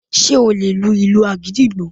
Ṣé o lè lu ìlù agidigbo